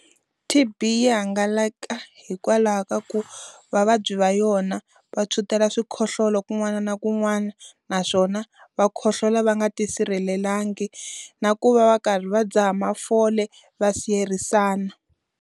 TB yi hangalaka hikwalaho ka ku vavabyi va yona va tshwutela xikhohlola kun'wana na kun'wana, naswona va khohlola va nga ti sirhelelangi. Na ku va va karhi va dzaha mafole va siyerisana.